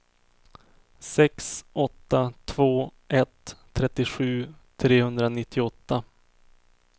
sex åtta två ett trettiosju trehundranittioåtta